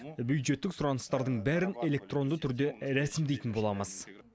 бюджеттік сұраныстардың бәрін электронды түрде рәсімдейтін боламыз